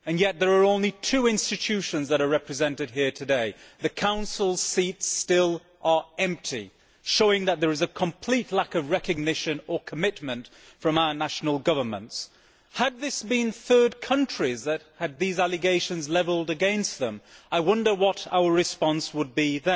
There are only two institutions that are represented here today the Council's seats are still empty, showing that there is a complete lack of recognition or commitment from our national governments. Had it been a third country that had these allegations levelled against it, I wonder what our response would have been.